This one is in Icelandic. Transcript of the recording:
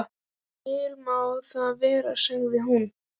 Vel má það vera, sagði hún.